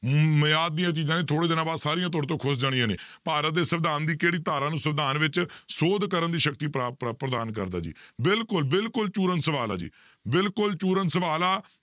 ਮਿਆਦ ਦੀਆਂ ਚੀਜ਼ਾਂ ਨੇ ਥੋੜ੍ਹੇ ਦਿਨਾਂ ਬਾਅਦ ਸਾਰੀਆਂ ਤੁਹਾਡੇ ਤੋਂ ਖ਼ੁਸ ਜਾਣੀਆਂ ਨੇ, ਭਾਰਤ ਦੇ ਸਵਿਧਾਨ ਦੀ ਕਿਹੜੀ ਧਾਰਾ ਨੂੰ ਸਵਿਧਾਨ ਵਿੱਚ ਸੋਧ ਕਰਨ ਦੀ ਸ਼ਕਤੀ ਪ੍ਰਦਾਨ ਕਰਦਾ ਜੀ ਬਿਲਕੁਲ ਬਿਲਕੁਲ ਪੂਰਨ ਸਵਾਲ ਹੈ ਜੀ, ਬਿਲਕੁਲ ਪੂਰਨ ਸਵਾਲ ਆ